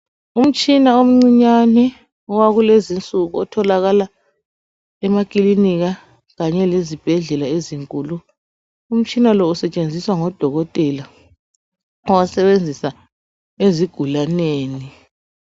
Umtshina omncinyane owakulezi nsuku otholakala emakilinika kanye lezibhedlela ezinkulu. Umtshina lo usetshenziswa ngoDokotela. Bawusebenzisa ezigulaneni.